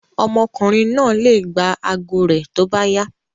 Ọmọkùnrin náà le gba ago rẹ̀ tó bá yá.